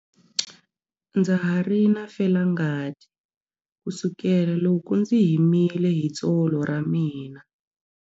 Ndza ha ri na felangati kusukela loko ndzi himile hi tsolo ra mina.